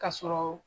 Ka sɔrɔ